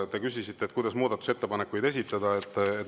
Te küsisite, kuidas muudatusettepanekuid esitada.